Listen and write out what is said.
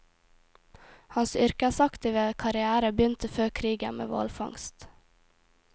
Hans yrkesaktive karrière begynte før krigen med hvalfangst.